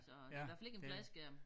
Så det hvert fald ikke en fladskærm